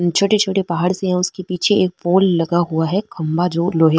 छोटे छोटे पहाड़ से है उसके पीछे एक पोल लगा हुआ है खम्भा जो लोहे --